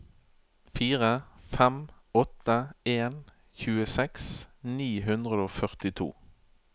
fire fem åtte en tjueseks ni hundre og førtito